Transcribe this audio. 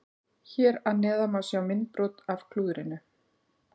Hér að neðan má sjá myndbrot af klúðrinu.